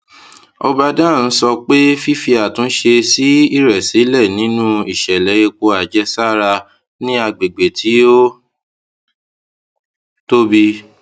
obadan sọ pé fífi àtúnṣe sí ìrẹsílè nínú ìṣẹlẹ epo àjẹsára ní agbègbè tí ó tóbi